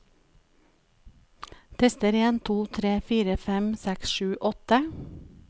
Tester en to tre fire fem seks sju åtte